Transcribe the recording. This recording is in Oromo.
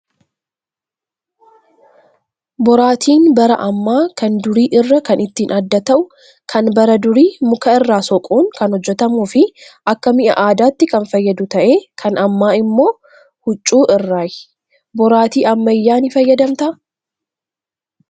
Boraatiin bara ammaa kan durii irraa kan ittiin adda ta'uu kan bara durii muka irraa soquun kan hojjatamuu fi Akka mi'a aadaatti kan fayyadu ta'ee kan ammaa immoo hucvuu irraayi. Boraatii ammayyaa ni fayyadamtaa?